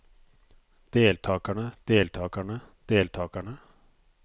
deltagerne deltagerne deltagerne